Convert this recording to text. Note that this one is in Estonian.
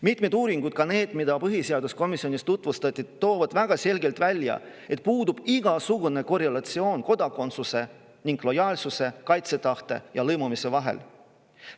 Mitmed uuringud, ka need, mida põhiseaduskomisjonis tutvustati, toovad väga selgelt välja, et puudub igasugune korrelatsioon kodakondsuse ning lojaalsuse, kaitsetahte ja lõimumise vahel.